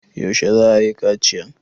Yaushe za a yi kaciyan?